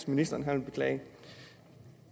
ministeren beklager